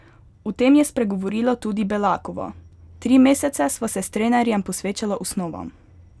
O tem je spregovorila tudi Belakova: "Tri mesece sva se s trenerjem posvečala osnovam.